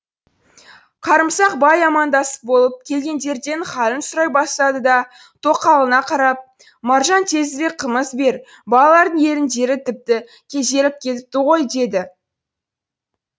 қарымсақ бай амандасып болып келгендерден халін сұрай бастады да тоқалына қарап маржан тезірек қымыз бер балалардың еріндері тіпті кезеріп кетіпті ғой деді